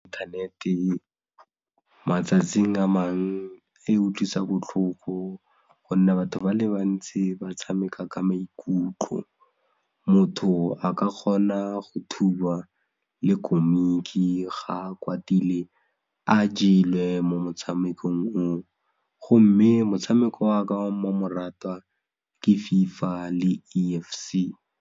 Inthanete matsatsing a mangwe e utlwisa botlhoko gonne batho ba le bantsi ba tshameka ka maikutlo, motho a ka kgona go thuba le komiki ga a kwatile, a jelwe mo motshamekong o o, gomme motshameko waka wa mmamoratwa ke FIFA le E_F_C.